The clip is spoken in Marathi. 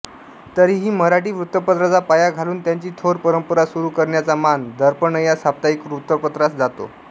तरीही मराठी वृत्तपत्राचा पाया घालून त्याची थोर परंपरा सुरू करण्याचा मान दर्पणया साप्ताहिक वृत्तपत्रासच जातो